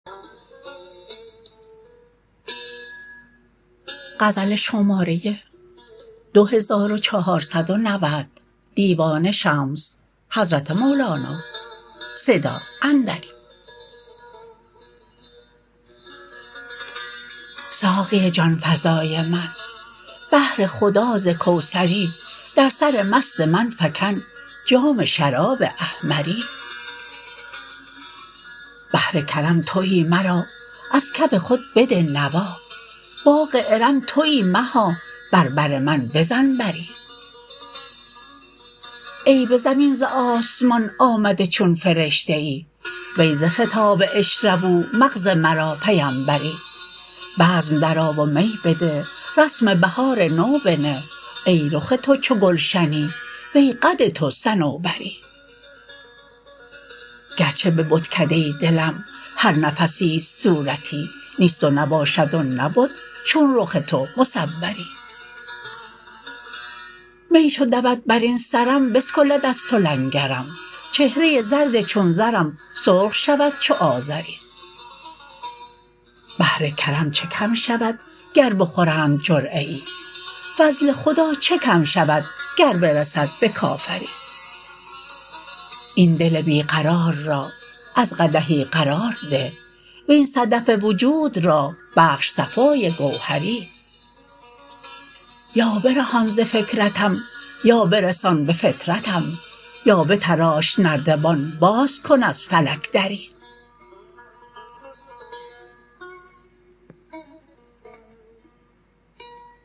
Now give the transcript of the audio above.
ساقی جان فزای من بهر خدا ز کوثری در سر مست من فکن جام شراب احمری بحر کرم توی مرا از کف خود بده نوا باغ ارم توی مها بر بر من بزن بری ای به زمین ز آسمان آمده چون فرشته ای وی ز خطاب اشربوا مغز مرا پیمبری بزم درآ و می بده رسم بهار نو بنه ای رخ تو چو گلشنی وی قد تو صنوبری گرچه به بتکده دلم هر نفسی است صورتی نیست و نباشد و نبد چون رخ تو مصوری می چو دود بر این سرم بسکلد از تو لنگرم چهره زرد چون زرم سرخ شود چو آذری بحر کرم چه کم شود گر بخورند جرعه ای فضل خدا چه کم شود گر برسد به کافری این دل بی قرار را از قدحی قرار ده وین صدف وجود را بخش صفای گوهری یا برهان ز فکرتم یا برسان به فطرتم یا بتراش نردبان باز کن از فلک دری